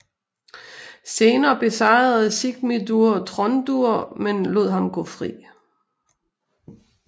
Senere besejrede Sigmundur Tróndur men lod ham gå fri